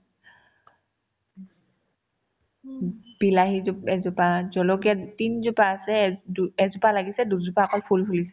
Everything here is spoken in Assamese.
বিলাহী জোপ ~ এজোপা , জলকীয়া তিনজোপা আছে দু এজোপা লাগিছে দুজোপা অকল ফুল ফুলিছে